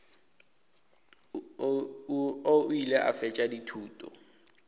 o ile a fetša dithuto